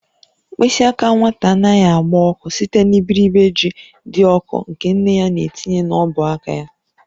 Mkpịsị aka nwata anaghị agba ọkụ site n'iberibe ji dị ọkụ nke nne ya na-etinye n'ọbụ aka ya.